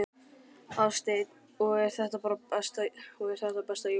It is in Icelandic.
Hafsteinn: Og er þetta besta jólagjöfin?